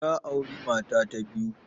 Ya auri mata ta biyu